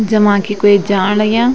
जमा की कुई जाण लग्यां।